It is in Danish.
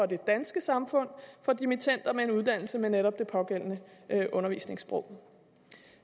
det danske samfund for dimittender med en uddannelse med netop det pågældende undervisningssprog